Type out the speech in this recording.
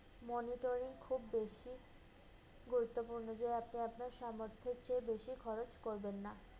monitoring খুব বেশি গুরুত্বপূর্ণ। যেয়ে যেয়ে আপনার সামর্থের চেয়ে বেশি খরচ করবেন না।